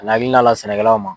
sɛnɛkɛlaw ma